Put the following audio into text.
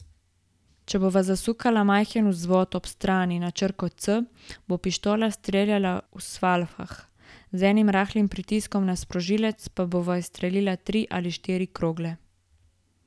Če bova zasukala majhen vzvod ob strani na črko C, bo pištola streljala v salvah, z enim rahlim pritiskom na sprožilec pa bova izstrelila tri ali štiri krogle.